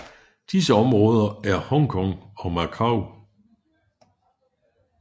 Disse områder er Hong Kong og Macau